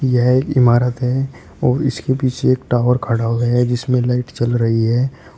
यह एक इमारत है और इसके पीछे एक टावर खड़ा हुआ है जिसमें लाइट चल रही है।